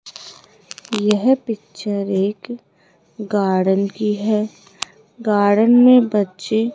यह पिक्चर एक गार्डन की है गार्डन में बच्चे --